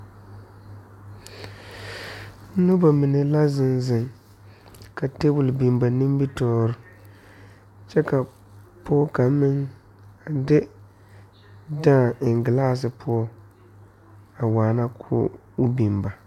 Noba mine la zeŋ zeŋ ka tabol biŋ ba nimitɔɔre kyɛ ka pɔge kaŋa meŋ a de daa a eŋ galasii poɔ a waana ko'o biŋ ba.